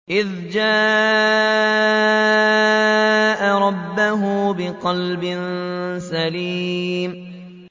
إِذْ جَاءَ رَبَّهُ بِقَلْبٍ سَلِيمٍ